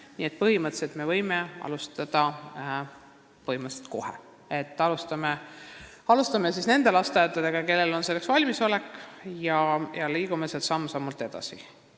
Nii et põhimõtteliselt me võime kohe alustada nende lasteaedadega, kellel on selleks valmisolek, ja liikuda siis samm-sammult edasi.